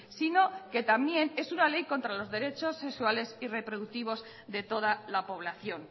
sino que también en una ley contra los derechos sexuales y reproductivos de toda la población